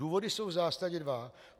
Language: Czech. Důvody jsou v zásadě dva.